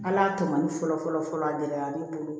Ala tɔ man di fɔlɔ fɔlɔ fɔlɔ a gɛlɛyara ne bolo